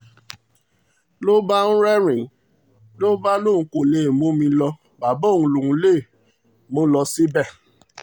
ló bá ń rẹ́rìn-ín ló bá lóun kó lè mú mi lọ bàbá òun lòún máa mú lọ síbẹ̀